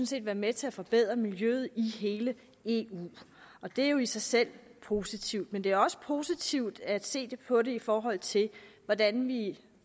set være med til at forbedre miljøet i hele eu og det er jo i sig selv positivt men det er også positivt at se på det i forhold til hvordan vi